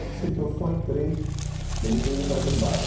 Eu só sei que eu só entrei, eu não entrei no pré-primário.